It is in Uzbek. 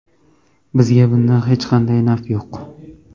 Bizga bundan hech qanday naf yo‘q.